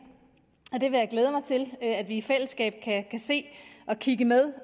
og at vi i fællesskab kan kigge med